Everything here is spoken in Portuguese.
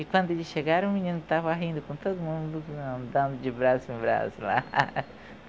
E quando eles chegaram, o menino estava rindo com todo mundo, dando de braço em braço lá.